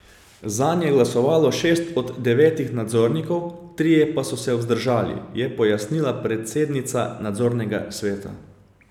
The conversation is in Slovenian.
Zanj je glasovalo šest od devetih nadzornikov, trije pa so se vzdržali, je pojasnila predsednica nadzornega sveta.